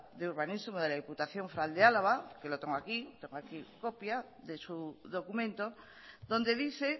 de urbanismo de la diputación foral de álava que lo tengo aquí tengo aquí una copia de su documento donde dice